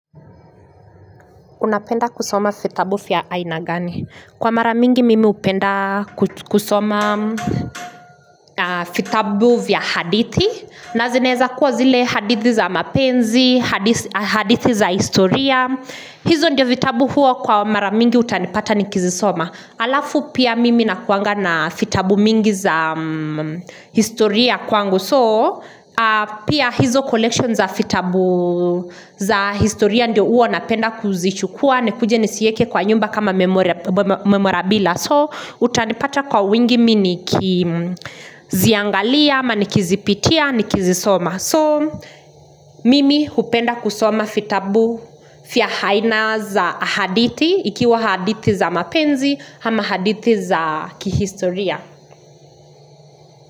Unapenda kusoma fitabu vya aina gani? Kwa mara mingi mimi hupenda kusoma fitabu vya hadithi. Nazineza kuwa zile hadithi za mapenzi, hadithi za historia. Hizo ndio fitabu huo kwa mara mingi utanipata nikizisoma. Alafu pia mimi nakuanga na fitabu mingi za historia kwangu. So pia hizo collection za fitabu za historia ndio uo napenda kuzichukua nikuje nizieke kwa nyumba kama memorabila so utanipata kwa wingi mimi nikiziangalia ama nikizipitia nikizisoma so mimi hupenda kusoma fitabu fia haina za hadithi ikiwa hadithi za mapenzi hama hadithi za kihistoria.